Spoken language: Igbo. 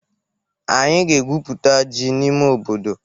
Anyị ga-egwụputa ji n'ime obodo.